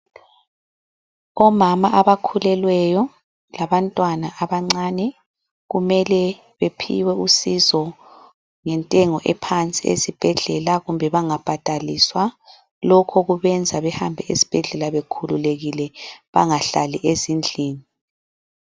Omama abakhulelweyo, labantwana abancane, kumele bephiwe usizo ngentengo ephansi esibhedlela kumbe bangabhadaliswa. Lokhu kubenza behambe esibhedlela bekhululekile bangahlali ezindlini.